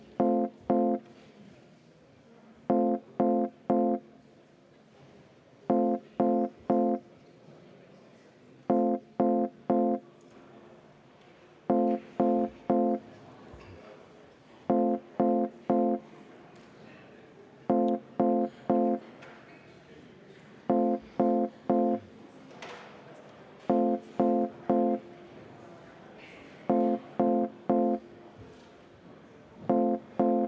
Kõigepealt ma soovin kohaloleku kontrolli.